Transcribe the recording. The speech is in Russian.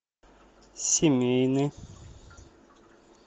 семейный